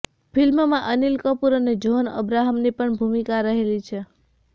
ફિલ્મમાં અનિલ કપુર અને જહોન અબ્રાહમની પણ ભૂમિકા રહેલી છે